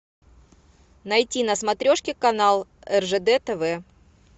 найти на смотрешке канал ржд тв